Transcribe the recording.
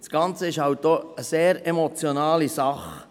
Das Ganze ist halt auch eine sehr emotionale Sache.